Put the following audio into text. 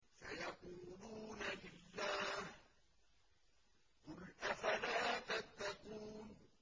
سَيَقُولُونَ لِلَّهِ ۚ قُلْ أَفَلَا تَتَّقُونَ